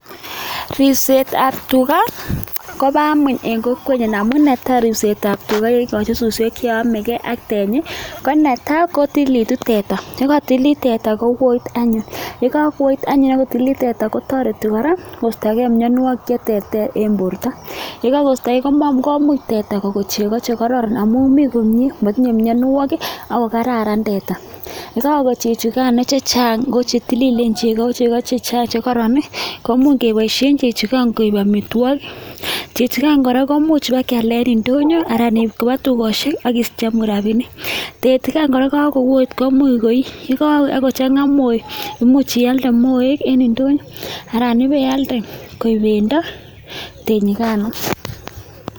Ribsetab tuga koba amuny en kokwenyu amun ne tai ribsetab tuga kekochi suswek che yame gei ak tenyi ko netai kotililitu teta. Ye kotililit teta kowoit anyun, ye kakuwoit anyun akutililit teta kotoreti kora koistogei mianwokik che terter en borta. Ye kakisto gei komuam komuch teta kokon chego che kororon amun mi komie matinye mianwokik ako kararan teta. Ntako chechu che chang ko che tililen chego ko chego che chang che koron, komuy keboishe chechu ngan oib amitwogik. Chechu ngai kora komuch keba kealda en ndonyo alan iib koba tukoshek akicheng'u rabinik. Teti ngan kora kakuwoit komuy koi, ye kakui akuchang'a moe ko much ialde moek eng ndonyo aran ibealde koek bendo tenyi.